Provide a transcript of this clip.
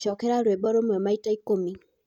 cokera rwĩmbo rũmwe maĩtaĩkumĩ